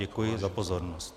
Děkuji za pozornost.